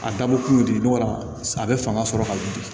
A dabɔ kun ye dimi dɔ a bɛ fanga sɔrɔ ka wuli